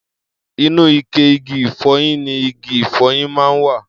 Inú ike igi ìfọyín ni igi ìfọyín máa ń wà.